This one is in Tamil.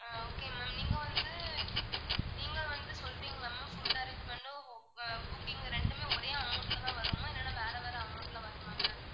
ஆஹ் okay ma'am நீங்க வந்து நீங்க வந்து சொல்றீங்கல்ல ma'am food arrangement உம் அஹ் cooking ரெண்டுமே ஒரே amount ல தான் வருமா இல்லன்னா வேற வேற amount ல வருமா ma'am